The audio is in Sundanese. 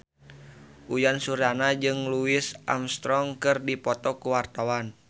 Uyan Suryana jeung Louis Armstrong keur dipoto ku wartawan